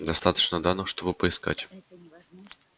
достаточно данных чтобы поискать